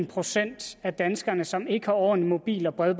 procent af danskerne som ikke har ordentlig mobil og